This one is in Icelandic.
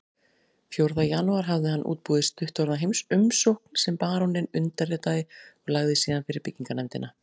Fjórða janúar hafði hann útbúið stuttorða umsókn sem baróninn undirritaði og lagði síðan fyrir byggingarnefndina